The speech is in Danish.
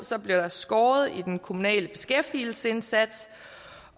bliver der skåret i den kommunale beskæftigelsesindsats